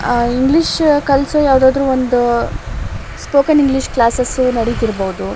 ಅ English ಕಲಿಸೋದ್ ಯಾವದಾದ್ರು ಒಂದು ಸ್ಪೋಕನ್ ಇಂಗ್ಲಿಷ್ ಕ್ಲಾಸೆಸ್ ಇರ್ಬೊದು ಇವು.